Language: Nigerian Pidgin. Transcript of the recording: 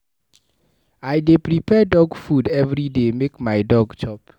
I dey prepare dog food everyday make my dog chop.